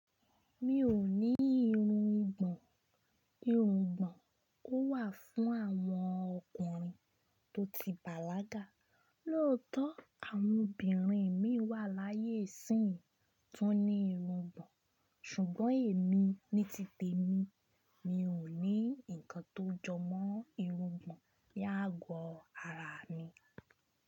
Mi ò ní irun ìgbọ̀n. Irun ìgbọ̀n ó wà fún àwọn ọkùnrin tó ti bàlágà. Lóòótọ́ àwọn obìnrin mi wà láyé sí yín tún ní irun ìgbọ̀n, ṣùgbọ́n èmi ní títẹ mi, mi ò ní nǹkan tó jọmọ́ irun ìgbọ̀n yágọ ara mi.